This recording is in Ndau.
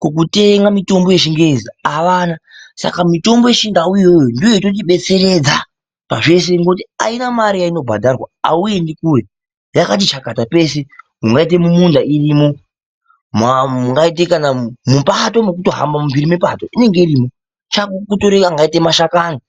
kokutenga mitombo yechingezi avana, saka mitombo yechindau iyoyo ndoyototibetseredza pazvese ngoti haina mare yainobhadharwa auendi kure yakati chakata peshe mungaite mumunda irimo, mungaite kana mupato mekutohamba mumbiri me pato inenge irimo chako kutore angaite mashakani.